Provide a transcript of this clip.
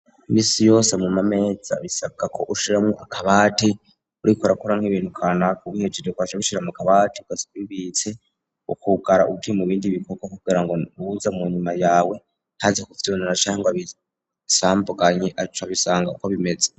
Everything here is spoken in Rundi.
imisi yose mu mameza bisabwa ko ushiremwo akabati uriko urakora nk'ibintu kanaka ubihejeje ugaca ubishira mu kabati Ugasiga ubibitse ukugara ugiye mu bindi bikogwa kugira ngo uza mu nyuma yawe ntaze kuvyinona cangwa abisambaganye aca abisanga uko bimeze.